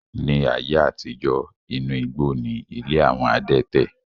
Ní ayé àtijó, inú igbó ni ilé àwọn adẹ́tẹ̀.